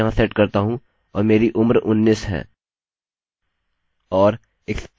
और expiry time को ऐसे ही रखते हैं